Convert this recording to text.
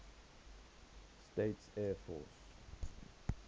states air force